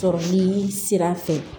Sɔrɔli sira fɛ